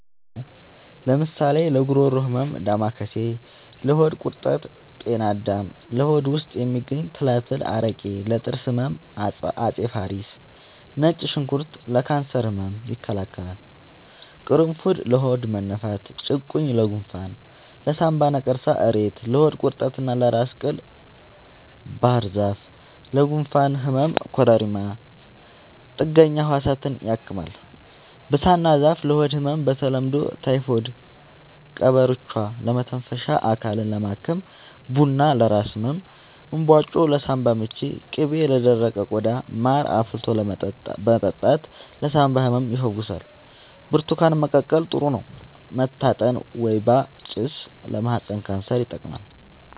አዎ ለምሳሌ ለጉሮሮ ህመም ዳማከሴ ለሆድ ቁርጠት ጤና አዳም ለሆድ ውስጥ የሚገኙ ትላትል አረቄ ለጥርስ ህመም አፄ ፋሪስ ነጭ ሽንኩርት ለካንሰር ህመም ይከላከላል ቁሩፉድ ለሆድ መነፋት ጭቁኝ ለጎንፋን ለሳንባ ነቀርሳ እሬት ለሆድ ቁርጠት እና ለራስ ቅል ባህርዛፍ ለጉንፋን ህመም ኮረሪማ ጥገኛ ህዋሳትን ያክማል ብሳና ዛፍ ለሆድ ህመም በተለምዶ ታይፎድ ቀበርቿ ለመተንፈሻ አካልን ለማከም ቡና ለራስ ህመም እንባጮ ለሳንባ ምች ቅቤ ለደረቀ ቆዳ ማር አፍልቶ መጠጣት ለሳንባ ህመም ይፈውሳል ብርቱካን መቀቀል ጥሩ ነው መታጠን ወይባ ጭስ ለማህፀን ካንሰር ይጠቅማል